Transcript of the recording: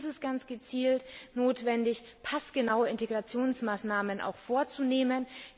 Hier ist es ganz gezielt notwendig, passgenaue Integrationsmaßnahmen vorzunehmen.